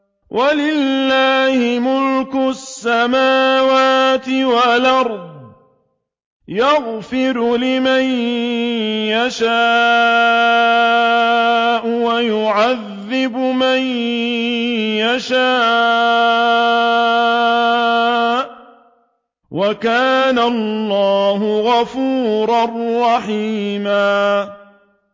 وَلِلَّهِ مُلْكُ السَّمَاوَاتِ وَالْأَرْضِ ۚ يَغْفِرُ لِمَن يَشَاءُ وَيُعَذِّبُ مَن يَشَاءُ ۚ وَكَانَ اللَّهُ غَفُورًا رَّحِيمًا